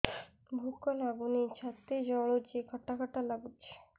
ଭୁକ ଲାଗୁନି ଛାତି ଜଳୁଛି ଖଟା ଖଟା ଲାଗୁଛି